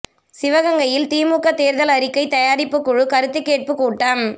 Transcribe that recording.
சிவகங்கையில் திமுக தோ்தல் அறிக்கை தயாரிப்புக் குழு கருத்துக் கேட்புக் கூட்டம்